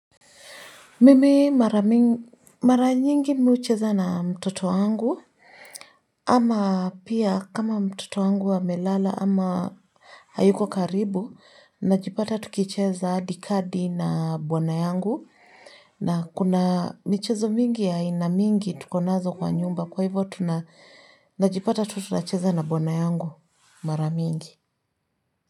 Mimi mara nyingi mimi hucheza na mtoto wangu, ama pia kama mtoto wangu amelala ama hayuko karibu, najipata tukicheza hadi kadi na bwana yangu, na kuna michezo mingi ya aina mingi tukonazo kwa nyumba kwa hivyo tunajipata tu tunacheza na bwana yangu mara mingi.